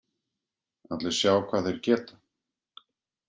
Allir sjá hvað þeir geta